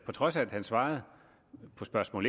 trods af at han svarede på spørgsmål